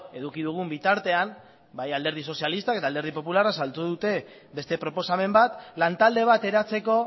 eduki dugun bitartean bai alderdi sozialistak eta alderdi popularrak saldu dute beste proposamen bat lantalde bat eratzeko